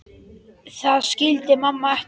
Það skildi mamma ekki.